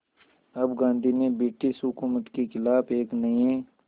अब गांधी ने ब्रिटिश हुकूमत के ख़िलाफ़ एक नये